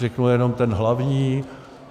Řeknu jenom ten hlavní.